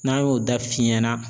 N'an y'o da f'i ɲɛna